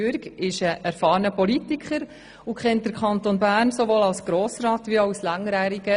Jürg ist ein erfahrener Politiker und kennt den Kanton Bern sowohl als Grossrat wie auch als langjähriger